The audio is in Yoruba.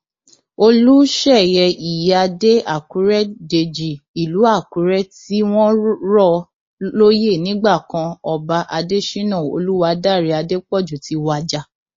olùṣeyẹ ìyíáde àkùrẹ dèjì ìlú àkùrẹ tí wọn rọ lóyè nígbà kan ọba adésínà olùwádàrẹ adépọjù ti wájà